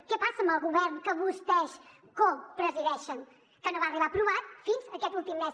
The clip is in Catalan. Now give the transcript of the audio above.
què passa amb el govern que vostès copresideixen que no va arribar aprovat fins aquest últim mes